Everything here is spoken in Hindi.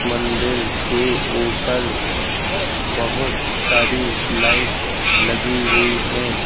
मंदिर के ऊपर बहुत सारी लाइट लगी हुई हैं।